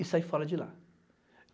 E saí fora de lá.